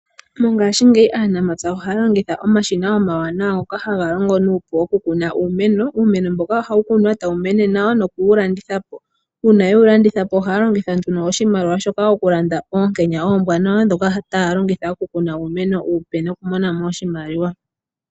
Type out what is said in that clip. Mongashingeyi aanamapya ohaya longitha oamshina omanene ngoka omawanawa haga longo nokukuna iimeno, iimeno mbyoka ohayi kunwa e tayi ka landitha po.konima yokulanditha ohaya longitha nduno sohimaliwa shoka okulanda oonkenya oompe dhokukuna iimeno iipe yo ya vule okumona mo oshimaliwa.